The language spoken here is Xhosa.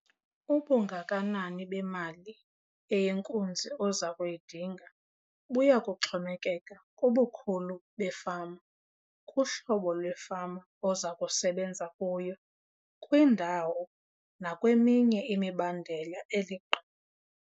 Ubungakanani bemali eyinkunzi oza kuyidinga buya kuxhomekeka kubukhulu befama, kuhlobo lwefama oza kusebenza kuyo, kwindawo nakweminye imibandela eliqe.